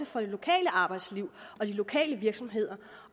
for det lokale arbejdsliv og de lokale virksomheder